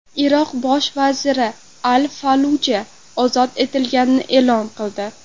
Iroq bosh vaziri Al-Falluja ozod etilganini e’lon qildi.